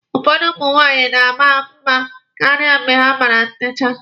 Ụfọdụ ụmụ nwaanyị na-ama mma karịa mgbe ha mere ntecha.